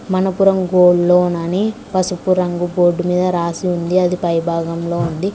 Manappuram gold loan అని పసుపు రంగు బోర్డ్ మీద రాసి ఉంది అది పై భాగంలో ఉంది.